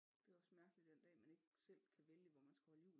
Det er også mærkeligt den dag man ikke selv kan vælge hvor man skal holde jul